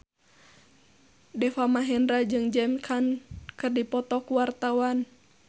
Deva Mahendra jeung James Caan keur dipoto ku wartawan